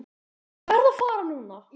Ég verð að fara núna!